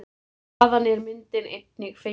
Þaðan er myndin einnig fengin.